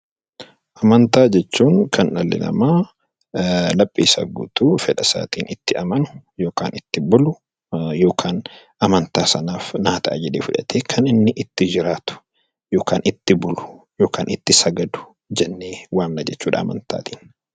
Amantaa jechuun kan dhalli namaa laphee isaa guutuun itti amanu, yookaan itti bulu yookaan amantaa isaatti itti jiraatu yookaan itti bulu yookaan itti sagadu amantaa jennee waamna jechuudha.